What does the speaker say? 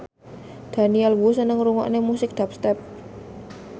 Daniel Wu seneng ngrungokne musik dubstep